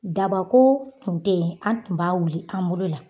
Daba ko tun tɛ yen an tun b'a wili an bolo la.